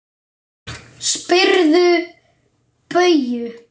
Spyrðu Bauju!